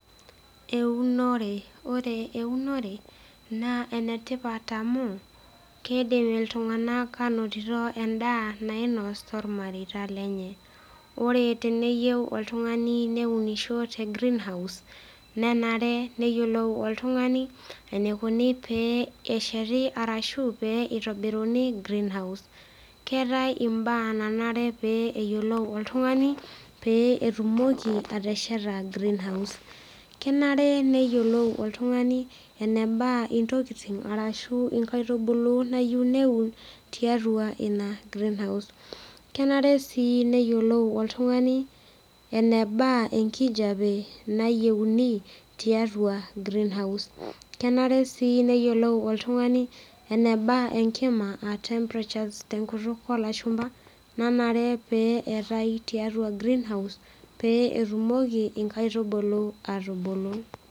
Eunore ore eunore naa enetipat amu kedim iltung'anak anotito endaa nainos tormareita lenye ore teneyieu oltung'ani neunisho te greenhouse nenare neyiolou oltung'ani enikuni pee esheti arashu pee itobiruni greenhouse keetae imbaa nanare pee eyiolou oltung'ani pee etumoki atesheta greenhouse kenare neyiolou oltung'ani eneba intokiting arashu inkaitubulu nayieu neun tiatua ina greenhouse kenare sii neyiolou oltung'ani eneba enkijape nayieuni tiatua greenhouse kenare sii neyiolou oltung'ani eneba enkima aa temperatures tenkutuk olashumpa nanare pee eetae tiatua greenhouse pee etumoki inkaitubulu atubulu.